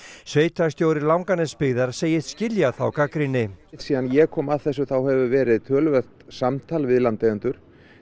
sveitarstjóri Langanesbyggðar segist skilja þá gagnrýni síðan ég kom að þessu þá hefur verið töluvert samtal við landeigendur